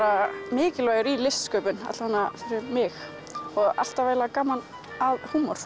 mikilvægur í listsköpun alla vega fyrir mig og alltaf gaman að húmor